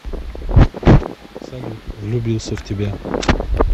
салют влюбился в тебя